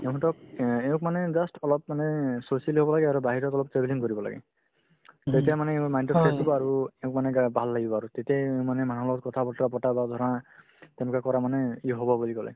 কিয়নো তেওঁক অ এওঁক মানে just অলপ মানে socially হ'ব লাগে আৰু বাহিৰত অলপ travelling কৰিব লাগে তেতিয়ামানে কি হ'ব mind তো fresh পাব আৰু এওঁক মানে গা ভাল লাগিব আৰু তেতিয়াই মানে মানুহৰ লগত কথা-বতৰা পতা বা ধৰা তেনেকুৱা কৰা মানেই হ'ব বুলি ক'লে